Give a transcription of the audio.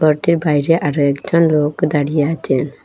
ঘরটির বাইরে আরও একটা লোক দাঁড়িয়ে আছে।